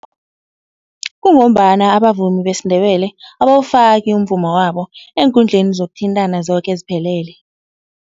Kungombana abavumi besiNdebele abawufaki umvumo wabo eenkundleni zokuthintana zoke eziphelele.